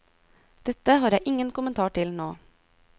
Dette har jeg ingen kommentar til nå.